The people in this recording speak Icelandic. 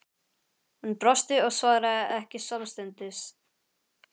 Hún brosti og svaraði ekki samstundis.